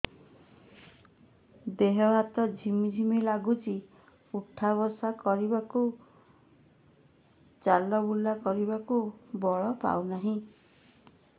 ଦେହେ ହାତ ଝିମ୍ ଝିମ୍ ଲାଗୁଚି ଉଠା ବସା କରିବାକୁ କି ଚଲା ବୁଲା କରିବାକୁ ବଳ ପାଉନି